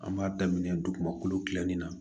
An b'a daminɛ dugumakolo gilanni na